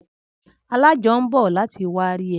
Alájọ ń bọ̀ láti wárí ẹ